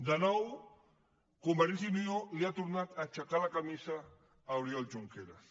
de nou convergència i unió li ha tornat a aixecar la camisa a oriol junqueras